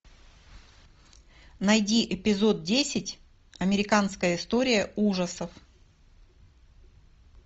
найди эпизод десять американская история ужасов